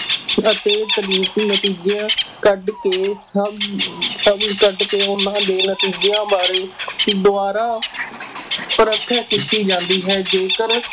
ਅਤੇ ਨਤੀਜਿਆਂ ਕੱਢ ਕੇ ਸਭ ਹੱਲ ਕੱਢ ਕੇ ਉਹਨਾਂ ਦੇ ਨਤੀਜਿਆਂ ਬਾਰੇ ਦੁਬਾਰਾ ਪਰਖ ਕੀਤੀ ਜਾਂਦੀ ਹੈ, ਜੇਕਰ